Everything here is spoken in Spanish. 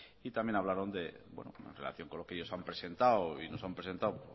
y también hablaron de en relación con lo que ellos han presentado y nos han presentado